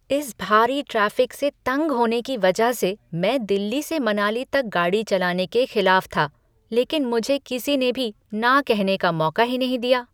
इस भारी ट्रैफिक से तंग होने की वजह से मैं दिल्ली से मनाली तक गाड़ी चलाने के खिलाफ था, लेकिन मुझे किसीने भी न कहने का मौका ही नहीं दिया।